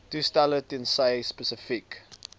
toestelle tensy spesifiek